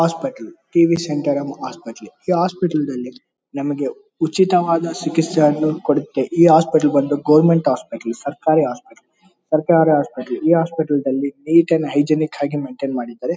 Hospital T V centre ಅನ್ನೋ hospital . ಈ hospital ನಲ್ಲಿ ನಮಗೆ ಉಚಿತವಾದ ಚಿಕಿತ್ಸೆ ಯನ್ನು ಕೊಡುತ್ತೆ. ಈ ಹಾಸ್ಪಿಟಲ್ ಗೊವೆರ್ನ್ಮೆಂಟ್ ಹಾಸ್ಪಿಟಲ್ ಸರ್ಕಾರಿ ಹಾಸ್ಪಿಟಲ್ ಸರ್ಕಾರ ಹಾಸ್ಪಿಟಲ್. ಈ ಹಾಸ್ಪಿಟಲ್ ನಲ್ಲಿ ನ್ಯೂಟ್ರಾನ್ ಹೈಜಿನಿಕ್ ಹಾಗೆ ಮೇಂಟೈನ್ ಮಾಡಿದರೆ.